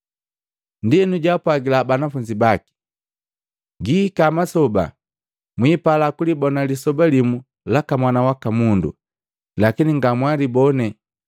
Ndienu jaapwagila Banafunzi baki, “Gihika masoba mwipala kulibona lisoba limu laka Mwana waka Mundu, lakini ngamwalibone.